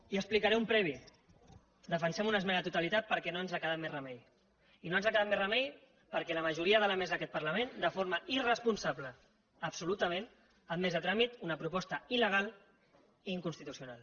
i explicaré un previ defensem una esmena a la totalitat perquè no ens ha quedat més remei i no ens ha quedat més remei perquè la majoria de la mesa d’aquest parlament de forma irresponsable absolutament ha admès a tràmit una proposta il·legal i inconstitucional